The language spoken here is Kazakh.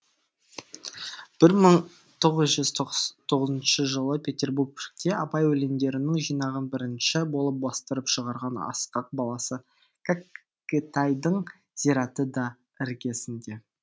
бір мың тоғыз жүз тоғызыншы жылы петербургте абай өлеңдерінің жинағын бірінші болып бастырып шығарған ысқақ баласы кәкітайдың зираты да іргесінде